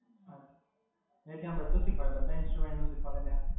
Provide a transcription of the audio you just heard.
એટલે ત્યાં બધુ શીખવાડે, બધા instruments નું શીખવાડે ત્યાં?